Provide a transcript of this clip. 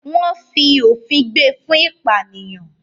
wọ́n “fi òfin gbé” e fún “ìpànìyàn”.